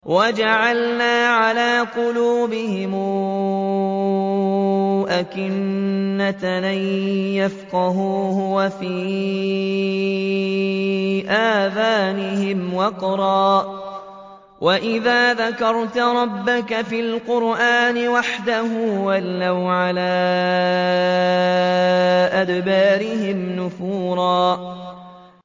وَجَعَلْنَا عَلَىٰ قُلُوبِهِمْ أَكِنَّةً أَن يَفْقَهُوهُ وَفِي آذَانِهِمْ وَقْرًا ۚ وَإِذَا ذَكَرْتَ رَبَّكَ فِي الْقُرْآنِ وَحْدَهُ وَلَّوْا عَلَىٰ أَدْبَارِهِمْ نُفُورًا